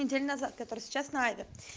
неделю назад которая сейчас на аве